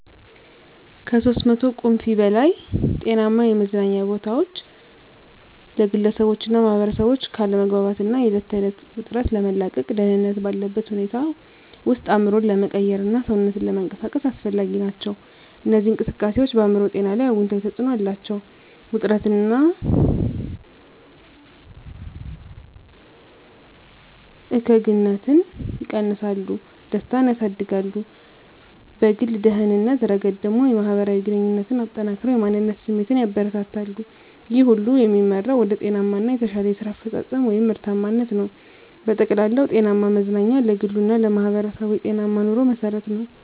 (ከ300 ቁምፊ በላይ) ጤናማ የመዝናኛ ቦታዎች ለግለሰቦችና ማኅበረሰቦች ከአለመግባባት እና የዕለት ተዕለት ውጥረት ለመላቀቅ፣ ደህንነት ባለበት ሁኔታ ውስጥ አእምሮን ለመቀየርና ሰውነትን ለመንቀሳቀስ አስፈላጊ ናቸው። እነዚህ እንቅስቃሴዎች በአእምሮ ጤና ላይ አዎንታዊ ተጽዕኖ አላቸው፤ ውጥረትን እና እከግንነትን ይቀንሳሉ፣ ደስታን ያሳድጋሉ። በግል ደህንነት ረገድ ደግሞ፣ የማህበራዊ ግንኙነትን አጠናክረው የማንነት ስሜትን ያበረታታሉ። ይህ ሁሉ የሚመራው ወደ ጤናማ እና የተሻለ የስራ አፈጻጸም (ምርታማነት) ነው። በጠቅላላው፣ ጤናማ መዝናኛ ለግሉ እና ለማህበረሰቡ የጤናማ ኑሮ መሠረት ነው።